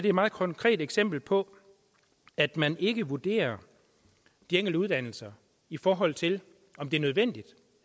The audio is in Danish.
et meget konkret eksempel på at man ikke vurderer de enkelte uddannelser i forhold til om det er nødvendigt